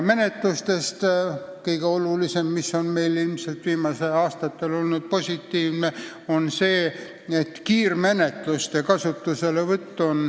Viimastel aastatel on meil positiivne olnud kiirmenetluste kasutuselevõtt.